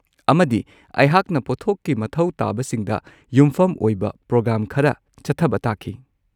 ꯑꯃꯗꯤ ꯑꯩꯍꯥꯛꯅ ꯄꯣꯠꯊꯣꯛꯀꯤ ꯃꯊꯧ ꯇꯥꯕꯁꯤꯡꯗ ꯌꯨꯝꯐꯝ ꯑꯣꯏꯕ ꯄ꯭ꯔꯣꯒ꯭ꯔꯥꯝ ꯈꯔ ꯆꯠꯊꯕ ꯇꯥꯈꯤ꯫